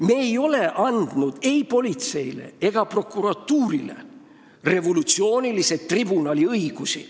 Me ei ole andnud ei politseile ega prokuratuurile revolutsioonilise tribunali õigusi.